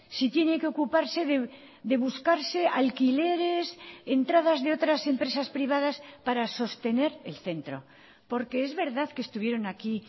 si tiene que ocuparse de buscarse alquileres entradas de otras empresas privadas para sostener el centro porque es verdad que estuvieron aquí